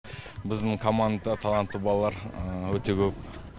біздің командада талантты балалар өте көп